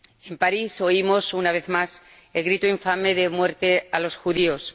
En París oímos, una vez más, el grito infame de ¡Muerte a los judíos!.